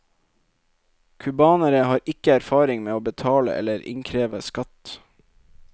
Cubanere har ikke erfaring med å betale eller å innkreve skatt.